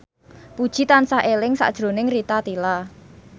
Puji tansah eling sakjroning Rita Tila